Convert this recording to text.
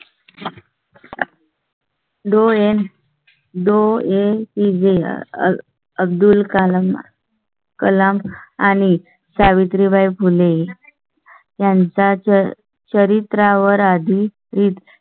डोळे डोळे A P J Abdul Kalam Kalam आणि सावित्रीबाई फुले. त्यांचा च्या चरित्रा वर आधी